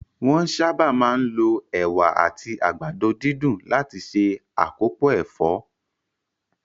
Wón sáábà máa ń lo Ẹ̀wà àti àgbàdo dídùn láti se akopo ẹ̀fọ́